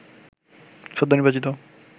সদ্য নির্বাচিত